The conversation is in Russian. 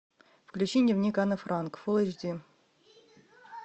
включи дневник анны франк фул эйч ди